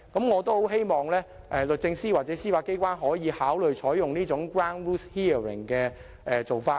我很希望律政司或司法機關可考慮採用這種 ground rules hearing 的做法。